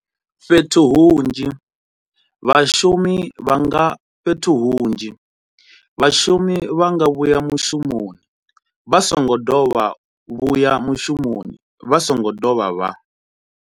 Fhethu hunzhi, vhashumi vha nga fhethu hunzhi, vhashumi vha nga vhuya mushumoni vha songo dovha vhuya mushumoni vha songo dovha vha.